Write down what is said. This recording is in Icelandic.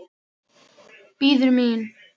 Bíður mín.